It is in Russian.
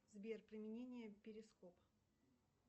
сбер применение перископ